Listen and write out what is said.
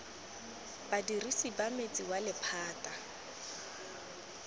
badirisi ba metsi wa lephata